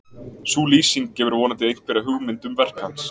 sú lýsing gefur vonandi einhverja hugmynd um verk hans